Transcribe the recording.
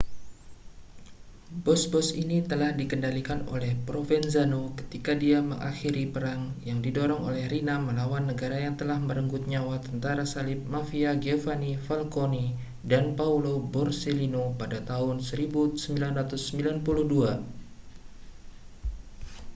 bos-bos ini telah dikendalikan oleh provenzano ketika dia mengakhiri perang yang didorong oleh riina melawan negara yang telah merenggut nyawa tentara salib mafia giovanni falcone dan paolo borsellino pada 1992